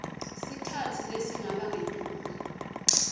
sikhatsi lesingaba ngetulu